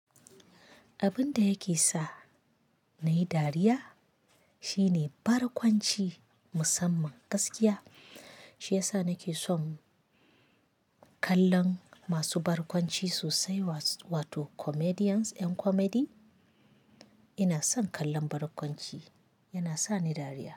Abin da yake sa nayi dariya shine barkwanci musamman gaskiya. Shi ya sa nake son kallon masu barkwanci sosai, wa-wato comedians yan comedy. Ina son kallon barkwanci, yana sa ni dariya.